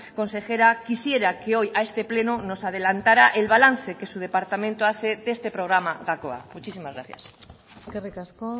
consejera quisiera que hoy a este pleno nos adelantara el balance que su departamento hace de este programa gakoa muchísimas gracias eskerrik asko